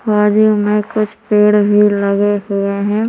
बाजू मे कुछ पेड़ भी लगे हुए है।